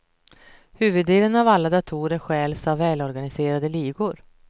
Huvuddelen av alla datorer stjäls av välorganiserade ligor.